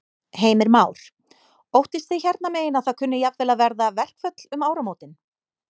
Heimir Már: Óttist þið hérna megin að það kunni jafnvel að verða verkföll um áramótin?